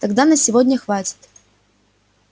тогда на сегодня хватит